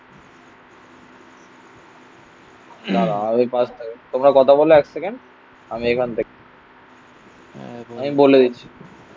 না না ওই পাশ থেকে তোমরা কথা বললে এক সেকেন্ড. আমি এখান থেকে. আমি বলে দিচ্ছি.